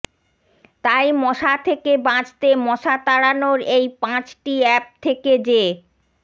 তাই মশা থেকে বাঁচতে মশা তাড়ানোর এই পাঁচটি অ্যাপ থেকে যে